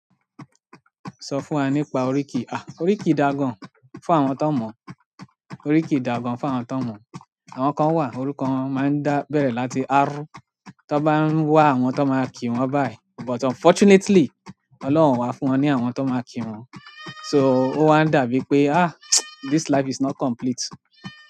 Sọ fún wa nípa oríkì. À, oríkì dagán fún àwọn tó mọ̀, oríkì dagán fún àwọn tó mọ̀. Àwọn kan wa orúkọ won ma n da bere láti r tọn bá ń wá àwọn tó máa kí wọn báyìí, but unfortunately Ọlọ́run o wà fún wọn ní àwọn tó máa kí wọn. So ó wa ń dàbí pé à, this life is not complete.